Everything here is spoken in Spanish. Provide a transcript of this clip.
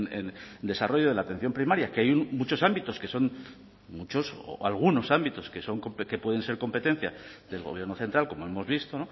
en desarrollo de la atención primaria que hay muchos ámbitos que son muchos o algunos ámbitos que son que pueden ser competencia del gobierno central como hemos visto